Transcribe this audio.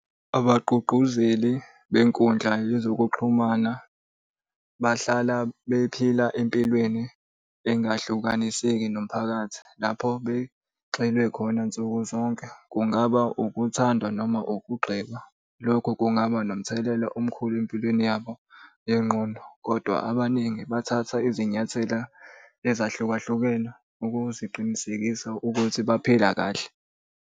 Abagqugquzeli benkundla yezokuxhumana bahlala bephila empilweni engahlukaniseki nomphakathi lapho begxile khona nsukuzonke. Kungaba ukuthandwa noma ukugxekwa, lokho kungaba nomthelela omkhulu empilweni yabo yengqondo, kodwa abaningi bathatha izinyathela ezahlukahlukene ukuziqinisekisa ukuthi baphila kahle.